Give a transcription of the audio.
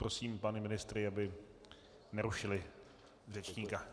Prosím pány ministry, aby nerušili řečníka.